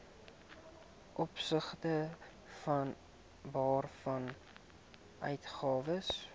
opsigte waarvan uitgawes